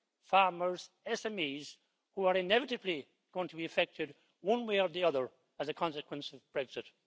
farmers and SMEs, which are inevitably going to be affected one way or the other as a consequence of Brexit.